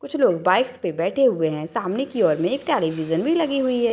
कुछ लोग बाइक्स पे बैठे हुए है सामने की ओर में एक टेलीविजन भी लगी हुई है।